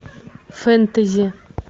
фэнтези